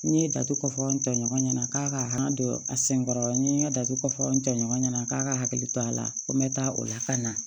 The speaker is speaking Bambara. N ye datugu kɔfɔ n tɔɲɔgɔn ɲɛna k'a ka han don a sen kɔrɔ n ye n ka jate ko fɔ n cɛɲɔgɔn ɲɛna k'a ka hakili to a la ko n bɛ taa o la ka na